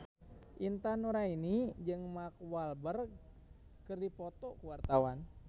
Intan Nuraini jeung Mark Walberg keur dipoto ku wartawan